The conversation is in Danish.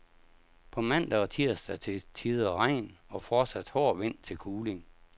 På mandag og tirsdag til tider regn og fortsat hård vind til kuling.